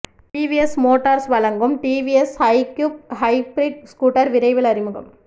TVS Motors வழங்கும் TVS iQube hybrid scooter விரைவில் அறிமுகம்